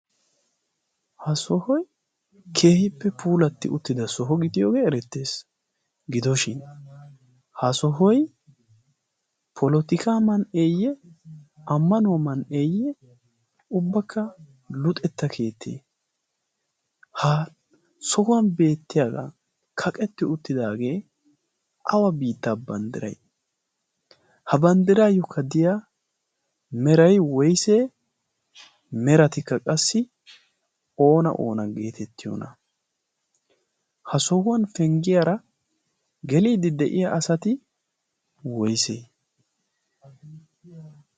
ha sohoy keehippe puulatti uttida soho gidiyoogee erettees gidoshin ha sohoi polotika man'eeyye ammanuwaa man"eeyye ubbakka luxetta keettie ha sohuwan beettiyaagaa kaqetti uttidaagee awa biittaa banddirai ha banddiraayyokka diya meray woysee meratikka qassi oona oona geetettiyoona. ha sohuwan penggiyaara geliiddi de'iya asati woysee?